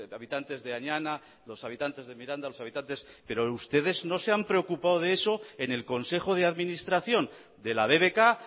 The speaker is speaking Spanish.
habitantes de añana los habitantes de miranda pero ustedes no se han preocupado de eso en el consejo de administración de la bbk